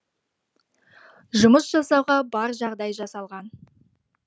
жұмыс жасауға бар жағдай жасалған